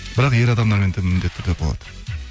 бірақ ер адамдармен міндетті түрде болады